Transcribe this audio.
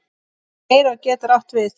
Leirá getur átt við